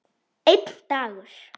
Einn dagur!